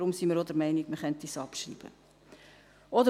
deshalb sind wir auch der Meinung, dass man es abschreiben könnte.